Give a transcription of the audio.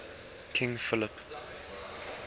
king philip